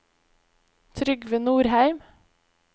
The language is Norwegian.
Trygve Nordheim